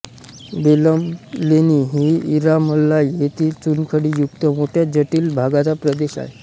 बेलम लेणी ही इरामलाई येथील चुनखडी युक्त मोठ्या जटिल भागाचा प्रदेश आहे